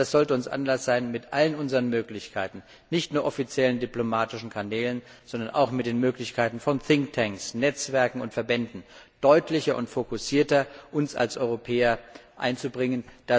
Also das sollte uns Anlass sein, mit all unseren Möglichkeiten nicht nur offiziellen, diplomatischen Kanälen, sondern auch mit den Möglichkeiten von Thinktanks, Netzwerken und Verbänden deutlicher und fokussierter uns als Europäer einzubringen.